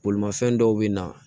Bolimafɛn dɔw bɛ na